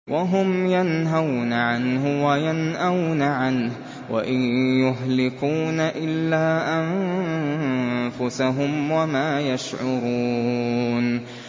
وَهُمْ يَنْهَوْنَ عَنْهُ وَيَنْأَوْنَ عَنْهُ ۖ وَإِن يُهْلِكُونَ إِلَّا أَنفُسَهُمْ وَمَا يَشْعُرُونَ